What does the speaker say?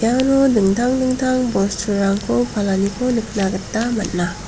iano dingtang dingtang bosturangko palaniko nikna gita man·a.